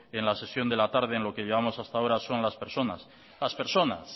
en la sesión de la tarde en lo que llevamos hasta ahora las personas